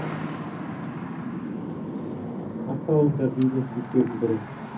қарсы алыңдар дейді жігіттердің бірі